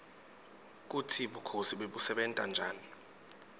kutsi bukhosi bebusebenta njani